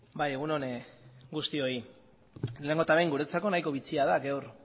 bai egun on guztioi lehenengo eta behin guretzako nahiko bitxia da gaur